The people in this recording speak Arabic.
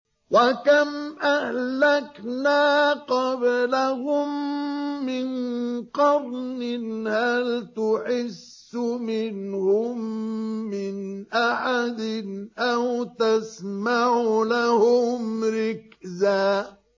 وَكَمْ أَهْلَكْنَا قَبْلَهُم مِّن قَرْنٍ هَلْ تُحِسُّ مِنْهُم مِّنْ أَحَدٍ أَوْ تَسْمَعُ لَهُمْ رِكْزًا